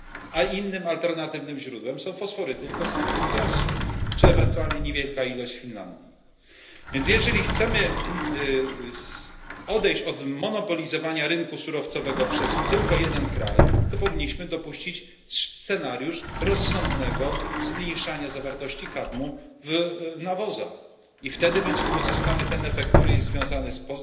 A innym alternatywnym źródłem są fosforyty z Rosji czy ewentualnie niewielka ilość z Finlandii. Więc jeżeli chcemy odejść od zmonopolizowania rynku surowcowego przez tylko jeden kraj, to powinniśmy dopuścić scenariusz rozsądnego zmniejszania zawartości kadmu w nawozach i wtedy uzyskamy ten efekt, który jest związany z